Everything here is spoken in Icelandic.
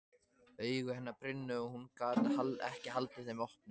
Augu hennar brunnu og hún gat ekki haldið þeim opnum.